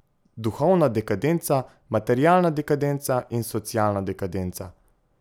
Duhovna dekadenca, materialna dekadenca in socialna dekadenca.